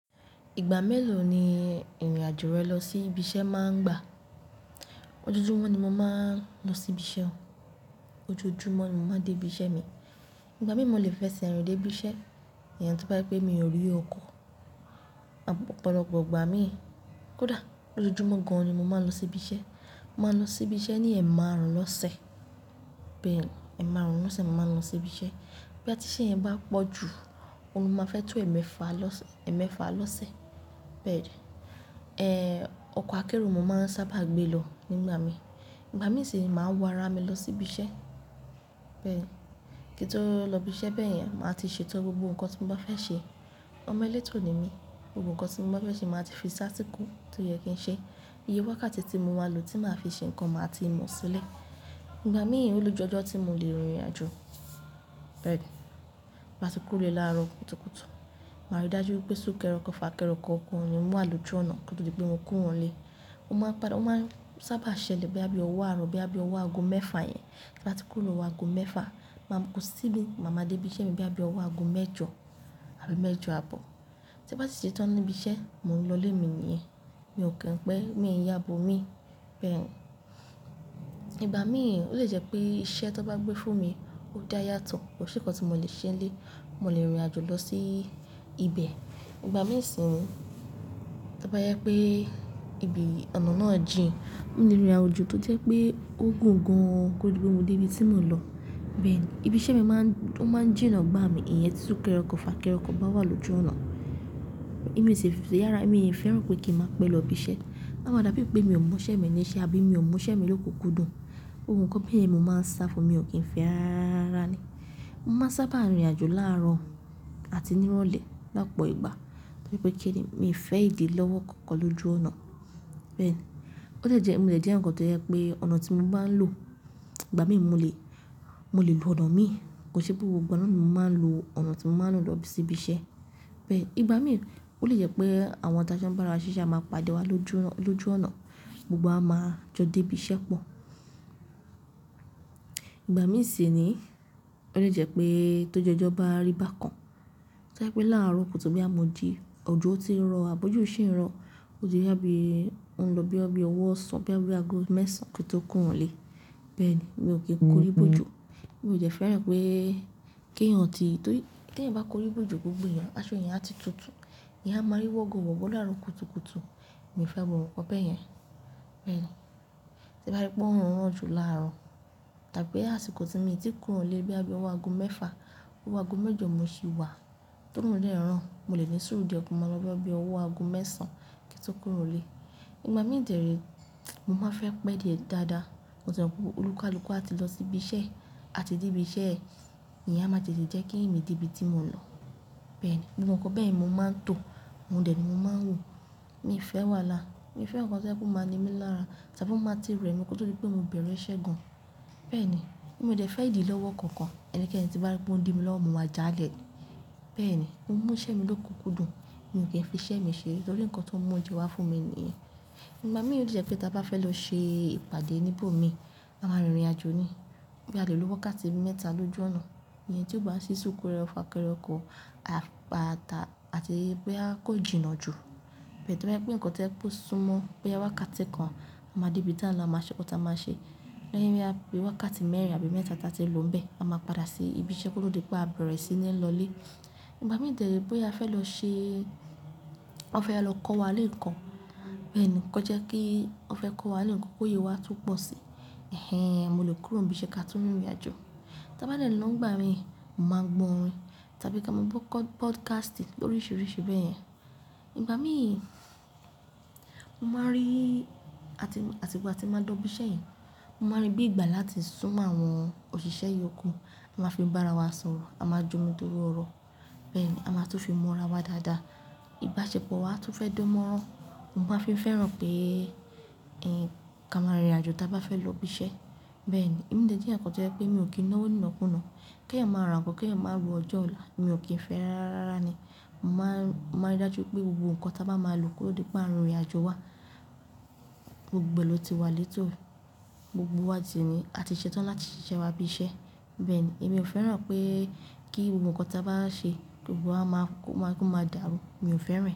Ìgbà mélòó ni ìrìn àjò rẹ lọ sí ibi iṣẹ́ máa ń gba? Ojoojúmọ́ ni mo máa ń lọ sí ibi iṣẹ́ o. Ojoojúmọ́ ni mo máa ń dé ibi iṣẹ́ mi. Ìgbà mìí mo lè fẹ́ ṣe rìn dé ibi iṣẹ́, ìyẹn tó bá pé mi ò rí ọkọ̀. Ọ̀pọ̀lọpọ̀ ìgbà mìí kódà ojoojúmọ́ gan-an ni mo máa ń lọ sí ibi iṣẹ́. Mo máa ń lọ sí ibi iṣẹ́ ní ẹ̀marùn lọ́sẹ̀. Bẹ́ẹ̀ni, ẹ̀marùn lọ́sẹ̀ mo máa ń lọ sí ibi iṣẹ́. Bí a ti ṣe yẹn bá pọ̀ jù, o máa fẹ́ tó ẹ̀mẹ́fà lọ́sẹ̀. Bẹ́ẹ̀ni, ẹ́, ọkọ̀ akérò mo máa ń sábà gbé lọ nígbà mi. Ìgbà mì sì ní, máa wà ará mi lọ sí ibi iṣẹ́. Bẹ́ẹ̀ni, kí n tó lọ ibi iṣẹ́ bẹ́ẹ̀ yẹn, màá ti ṣetọ́ gbogbo nǹkan tí mo bá fẹ́ ṣe. Ọmọ létò ni mí, gbogbo kan tí mo bá fẹ́ ṣe, màá ti fi sí àsìkò tó yẹ kí n ṣe. Iye wákàtí tí mo máa lò tí màá fi ṣe nǹkan, màá ti mọ̀ sílẹ̀. Ìgbà mìí, ó lè jẹ́ ọjọ́ tí mo lè rìn ìrìnàjò. Bẹ́ẹ̀ni, bá ti kúrò lárọ̀ kùtùkùtù, màá rí dájú pé sùkẹrẹ ọkọ̀, fàkẹrẹ ọkọ̀, kan kò ní wà lójú ọ̀nà kó tó di pé mo kúrò ilé. Ó máa padà, ó máa ń sábà ṣẹlẹ̀ bóyá bí ọwọ́ ààrọ̀, bóyá bí ọwọ́ ago mẹ́fà yẹn. Tí n bá ti kúrò lọ́wọ́ ago mẹ́fà, màá máa dé ibi iṣẹ́ mi bóyá bí ọwọ́ ago mẹ́jọ, àbí mẹ́jọ àbọ̀. Tí ń bá sì ṣetán ní ibi iṣẹ́, mò ń lọlé mi nìyẹn. Mi ò kí n pé mi ń yábo mi. Bẹ́ẹ̀ni, ìgbà mìí ó lè jẹ́ pé iṣẹ́ tó bá gbé fún mi, ó dáa yàtọ̀, kò sí nǹkan tí mo lè ṣe lé, mo lè rìn ìrìnàjò lọ sí ibẹ̀. Ìgbà mìí sì ní, tí ó bá jẹ́ pé ibi ọ̀nà náà jìn, mo lè rìn ìrìnàjò tó jẹ́ pé ó gùn gan-an kó lè gbé mi dé ibi tí mo ń lọ. Bẹ́ẹ̀ni, ibi iṣẹ́ mi máa ń, ó máa ń jìnà bá mi, ìyẹn tí sùkẹrẹ ọkọ̀, fà kẹrẹ ọkọ̀ bá wà lójú ọ̀nà. Èmi ò sì fẹ́, èmi ò fẹ́ràn pé kí n máa pẹ́ lọ ibi iṣẹ́, a máa dà bí i pé mi ò mú iṣẹ́ mi ní iṣẹ́, àbí mi ò mú iṣẹ́ mi lókun kúndùn. Ohun kan bẹ́ẹ̀ yẹn ni mo máa ń sá fún, mi ò kì í fẹ́ rárá rárá rárá ni. Mo máa ń sábà rìn ìrìnàjò láàárọ̀ àti ní ìrọ̀lẹ́ lọ́pọ̀ ìgbà. Torí pé kíni, mi ò fẹ́ ìdí lọ́wọ́ kankan lójú ọ̀nà. Bẹ́ẹ̀ni, ó lè jẹ́, mo lè jẹ́ nǹkan tó jẹ́ pé ọ̀nà tí mo bá ń lò, ìgbà mìí mo lè, mo lè lo ọ̀nà mi. Kò ṣe pé gbogbo nà mo máa ń lo ọ̀nà tí mo máa ń lò lọ sí ibi iṣẹ́. Bẹ́ẹ̀ni, ìgbà mìí ó lè jẹ́ pé àwọn tájọ́ ń bá ara wa ṣíṣe, a máa padà wá lójú ọ̀nà, gbogbo wa máa jọ dé ibi iṣẹ́ pọ̀. Ìgbà mìí sì ni, ó lè jẹ́ pé tó jù ọjọ́ bá rí bákan, tí o jẹ́ pé láàárọ̀ kùtu bóyá mọ jí, òjò ti rọ̀, àbó òjò ṣin rọ̀, bóyá yà bí ó ń lọ bí ọwọ́ ọ̀sán, bí a bí ago mẹ́sàn kí n tó kúrò lé. Bẹ́ẹ̀ni, mi ò kì í kórí bójò. Mi ò jẹ́ fẹ́ràn pé kí èèyàn tì, torí tì èèyàn bá korí bójù gbogbo èèyàn, aṣọ èèyàn á ti tutù, èèyàn á máa rí wọ́go wọ̀go láàárọ̀ kùtùkùtù. Mi ò fẹ́ gbogbo nǹkan bẹ́ẹ̀ yẹn. Bẹ́ẹ̀ni, tí bá rí pé oòrùn ràn jù láàárọ̀, tàbí àsìkò tí mi ti kúrò lẹ́ bóyá bí ọwọ́ aago mẹ́fà, ọwọ́ aago mẹ́jọ mo sì wá, tó oòrùn dẹ̀ ràn, mo lè ní sùúrù di ọwọ́ aago mẹ́sàn kí n tó kúrò lẹ́. Ìgbà mìí dẹ̀lé, mo máa ń fẹ́ pẹ́ dé dáadáa. Mo sì mọ̀ pé olúkalúkọ́ á ti lọ sí ibi iṣẹ́, a ti dé ibi iṣẹ́, èèyàn máa tètè jẹ́ kí èmi dé ibi tí mo ń lọ. Bẹ́ẹ̀ni, gbogbo ǹkan bẹ́ yẹn ni mo máa ń tò, òun dẹ̀ ni mo máa ń wò. Mi ò fẹ́ wàlá, mi ò fẹ́ nǹkan tí ó jẹ́ pé ó máa ní mi lára, tàbí o máa ti rẹ̀ mi kóto di pé mo bẹ̀rẹ̀ iṣẹ́ gan-an. Bẹ́ẹ̀ni, mio dẹ̀ fẹ́ ìdí lọ́wọ́ kankan ẹni k'ẹni tí n bá rí pé ó ń di mi lọ́wọ́ mo ma já lẹ̀ ni. Bẹ́ẹ̀ni, mo ń mú iṣẹ́ mi lókun kúndùn, mi ò kí ń fi iṣẹ́ mi ṣere, torí nǹkan tó ń mú oúnjẹ wa fún mi nìyẹn. Ìgbà mìíràn ó lè jẹ́ pé tí a bá fẹ́ lọ ṣe ìpàdé níbò mi, a máa rìn ìrìnàjò ni. Bóyá alè lo wákàtí mẹ́ta lójú ọ̀nà, èyí tí ó bá ń ṣí sùkẹrẹ fàkẹrẹ ọkọ̀, àti bóyá kó jìnà jù. Tó bá yẹ pé nǹkan tó ń súnmọ́ bóyá wákàtí kan, a máa dé ibi táa ń lọ a máa ṣe nǹkan táa máa ṣe. Lẹ́yìn bóyá bí wákàtí mẹ́rin àbí mẹ́ta tí a ti lò níbẹ̀, a máa padà sí ibi iṣẹ́ kóto di pé a bẹ̀rẹ̀ sí ní lọlé. Ìgbà mìíràn dẹ re bóyá a fẹ́ lọ ṣe-- wọn fẹ́ lọ kọ́ wa ni ǹkan. Bẹ́ẹ̀ni, kí ó jẹ́ kí wọn fẹ́ kó wa nǹkan kí òye wa tún pọ̀ sí i, mo lè kúrò ní ibi iṣẹ́ ká tún rìn ìrìnàjò. Tí a bá dẹ̀ lọ́ nígbà mi, mo máa ń gbọ̀ orin tàbí ká máa gbọ́ podcastì l'oríṣiríṣi bẹ́ẹ̀ yẹn. Ìgbà mìíràn, mo máa rí, àti ìgbà tí mo máa ń lọ ibi iṣẹ́ yẹn, mo máa rí bí ìgbà láti súnmọ́ àwọn òṣìṣẹ́ ìyókù. A máa fi ìbára wa sọ̀rọ̀, a máa j'omi toro ọ̀rọ̀. Bẹ́ẹ̀ ni, a máa tún fi mọ́ ara wa dáadáa. Ìbáṣepọ̀ wa tún fẹ́ dánmọ́rán. Mo máa fi ń fẹ́ràn pé, ká máa rìn ìrìnàjò tí a bá fẹ́ lọ ibi iṣẹ́. Bẹ́ẹ̀ ni, èmi jẹ́ kan tó jẹ́ pé mi ò kí ń náwó nínàkú náà. Kí èèyàn máa ra nǹkan, kí èèyàn máa wọ ọjọ́ ọ̀la, mi ò kí ń fẹ́ rárá ni. Mo máa ń, mo máa rí dájú pé gbogbo nǹkan tí a bá máa lò kóto di pé à ń rìn ìrìnàjò wa, gbogbo ẹ ló ti wà létò. Gbogbo wa sì ní, á ti ṣetán láti ṣiṣẹ́ wa ibi iṣẹ́. Bẹ́ẹ̀ ni, èmi ò fẹ́ràn pé kí gbogbo ǹkan tí a bá ṣe, kó máa dàrú, mi ò fẹ́ rẹ̀.